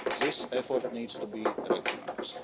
This effort needs to be recognised.